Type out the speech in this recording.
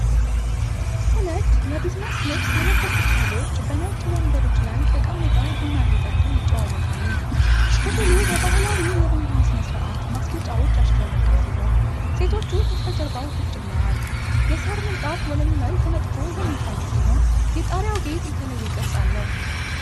ሁለት የቢዝነስ ልብስ የለበሱ ሰዎች በነጭ ወንበሮች ላይ ተቀምጠው ቡና እየጠጡ ይጨዋወታሉ። ክፍሉ በባህላዊ የቡና ሥነ-ሥርዓት ማስጌጫዎች ያሸበረቀ ሲሆን፣ ሴቶች በስተጀርባው ቁጭ ብለዋል። የሣር ምንጣፍ ወለሉ ላይ ተነጥፎ የሚታይ ሲሆን፣ የጣሪያው ጌጥ የተለየ ቅርጽ አለው።